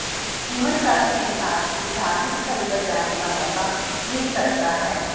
जीवनसाथी के साथ किसी धार्मिक स्थल पर जाने का मौका मिल सकता है